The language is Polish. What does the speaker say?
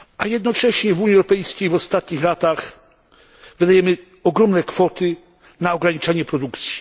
Jednocześnie w Unii Europejskiej w ostatnich latach wydajemy ogromne kwoty na ograniczanie produkcji.